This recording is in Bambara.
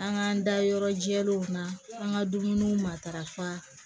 An k'an da yɔrɔ jɛlenw na an ka dumuniw matarafa